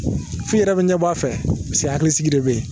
Fi yɛrɛ bɛ ɲɛbɔ a fɛ hakilisigi de bɛ yen